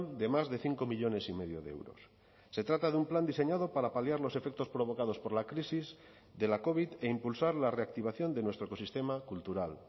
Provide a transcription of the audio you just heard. de más de cinco millónes y medio de euros se trata de un plan diseñado para paliar los efectos provocados por la crisis de la covid e impulsar la reactivación de nuestro ecosistema cultural